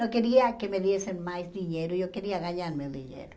Não queria que me dessem mais dinheiro, eu queria ganhar meu dinheiro.